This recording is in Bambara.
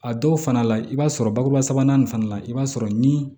A dɔw fana la i b'a sɔrɔ bakuruba sabanan nin fana la i b'a sɔrɔ ni